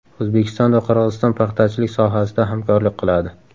O‘zbekiston va Qirg‘iziston paxtachilik sohasida hamkorlik qiladi.